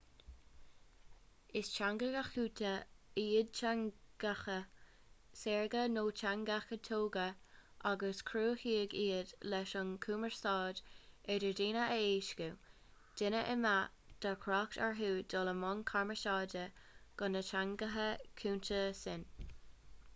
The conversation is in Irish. is teangacha cúnta iad teangacha saorga nó teangacha tógtha agus cruthaíodh iad leis an gcumarsáid idir dhaoine a éascú daoine a mbeadh deacracht orthu dul i mbun cumarsáide gan na teangacha cúnta sin